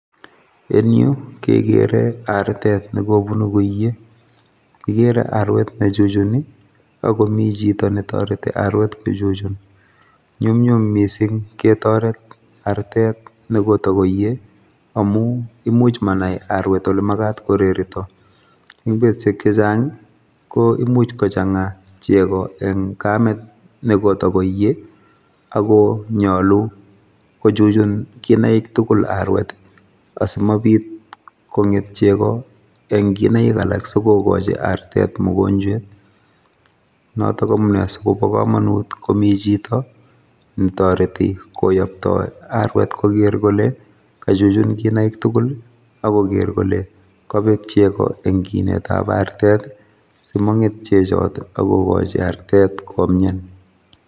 En yu kekere artet ne kobunu koiye, kikere arwet ne chuchuni ako mi chito ne toreti arwet kochuchun, nyumnyum mising ketoret artet ne koto koiye amu imuch manai arwet ole makat korerito, eng betusiek che chang ii, ko imuch kochanga chego eng kamet ne kotakoiye, ako nyalu kochuchun kinaik tugul arwet asimabit konget chego eng kinaik alak si kokochi artet mugonjwet, notok amune si kobo kamanut komi chito ne toreti koyoptoi arwet koker kole kachuchun kinaik tugul ii, akoker kole kabek chego eng kinetab artet ii simonget chechot ak kokochi artet komian.